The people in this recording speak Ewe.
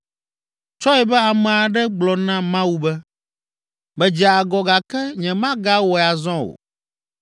“Tsɔe be ame aɖe gblɔ na Mawu be, ‘Medze agɔ gake nyemagawɔe azɔ o.